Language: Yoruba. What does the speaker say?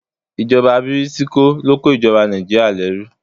Ìjọba bìrìtìkó ló kó ìjoba Nàìjíríà lẹ́rú